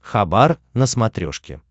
хабар на смотрешке